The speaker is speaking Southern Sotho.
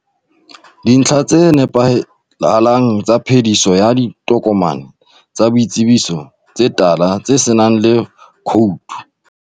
Dintlha tse sa nepahalang tsa phediso ya ditokomane tsa boitsebiso tse tala tsenang le khoutu.